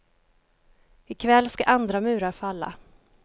I kväll ska andra murar falla.